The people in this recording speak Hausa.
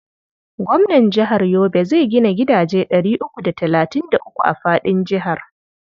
Gwamnan jihar Yobe zai gina gidaje ɗari uku da talatin da uku a faɗin jihar.